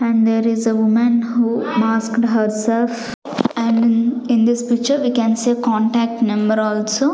and there is a woman who masked herself and in this picture we can see contact number also.